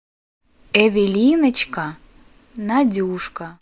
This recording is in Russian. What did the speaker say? эвелиночка надюшка